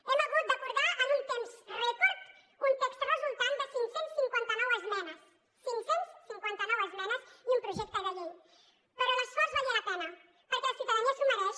hem hagut d’acordar en un temps rècord un text resultant de cinc cents i cinquanta nou esmenes cinc cents i cinquanta nou esmenes i un projecte de llei però l’esforç valia la pena perquè la ciutadania s’ho mereix